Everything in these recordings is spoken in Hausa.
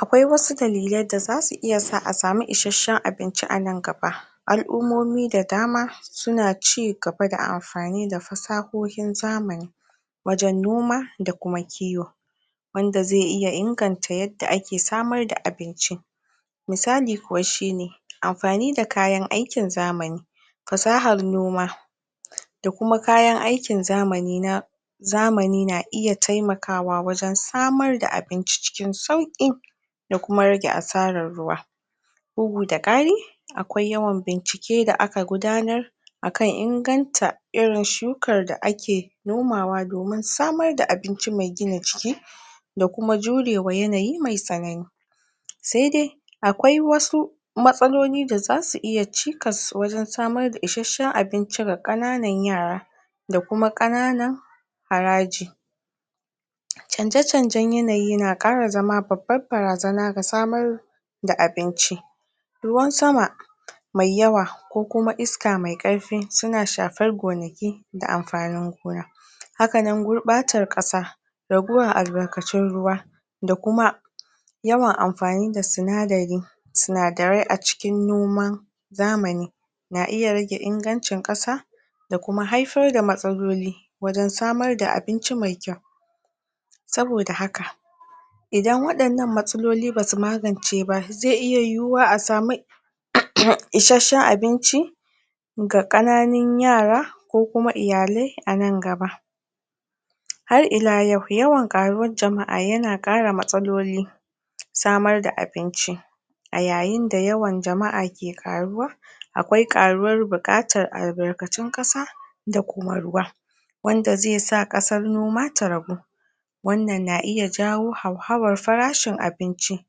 Akwai wasu dalilai da zasu iya sawa a sami isasshen abinci anan gaba, al'ummomi da dama suna cigaba da amfani da fasahohin zamani wajen noma da kiwo, wanda zai iya inganta da yadda ake samar da abinci, misali kuwa shine amfani da kayan aikin zamani, fasahar noma da kuma kayan aikin zamani na zamani na iya taimakawa wajen samar da abinci cikin sauki da kuma rage asarar ruwa bugu da kari akwai yawan bincike da aka gudanar akan inganta irin shukar da ake nomawa domin samar da abinci mai gina jiki da kuma jurewa yanayi mai tsanani sai dai akwai wasu matsaloli da zasu iya cikas wajen samar da isasshen abinci ga kananan yara, da kuma kananan haraji Canje-canjen yanayi na kara zama babbar barazana ga samar da abinci ruwan sama mai yawa ko kuma iska mai karfi suna shafar gonaki da amfanin gona, hakanan gurbatar kasa raguwar albarkacin ruwa da kuma yawan amfani da sinadari-sinadarai a cikin noman zamani zamani na iya rage ingancin kasa da kuma haifar da matsaloli wajen samar da abinci mai kyau. saboda haka idan wadannan matsaloli basu magance ba zai iya yiwuwa a sami isasshen abinci ga kananun yara ko kuma iyalai anan gaba. Har ila yau yawan karuwar jama'a yana kara matsalolin samar da abinci a yayin da yawan jama'a ke karuwa akwai karuwar bukatar albarkatun kasa da kuma ruwa wanda zai sa kasar noma ta ragu, wannan na iya jawo hauhawar farashin abinci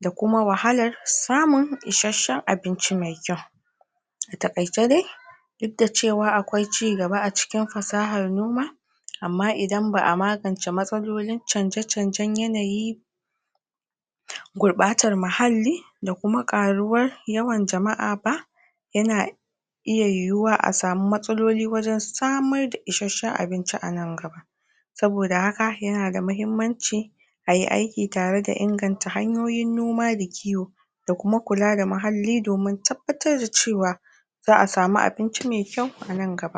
da kuma wahalar samun isasshen abinci mai kyau. a takaice dai duk da cewa akwai cigaba a cikin fasahar noma, amma idan ba'a magance matsalolin canje-canjen yanayi da gurbatar muhalli da kuma ƙaruwar yawan jama'a ba yana iya yana iya yiwuwa a sami matsaloli wajen samar da isasshen abinci ana gaba, saboda haka yana da muhimmanci ayi aiki tare da inganta hanyoyin noma da kiwo da kuma kula da muhalli domin tabbatar da cewa za'a samu abinci mai kyau anan gaba.